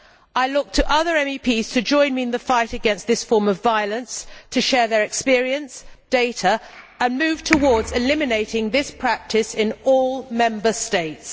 I look to other MEPs to join me in the fight against this form of violence, to share their experience and data and to move towards eliminating this practice in all Member States.